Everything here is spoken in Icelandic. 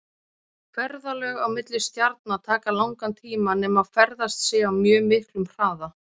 Ferðalög á milli stjarna taka langan tíma nema ferðast sé á mjög miklum hraða.